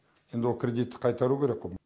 енді ол кредитті қайтару керек қой